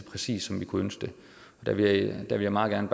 præcist som vi kunne ønske det der vil jeg meget gerne